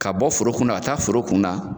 Ka bɔ foro kɔnɔ ka taa foro kun na